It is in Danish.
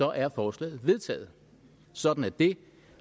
er forslaget vedtaget sådan er det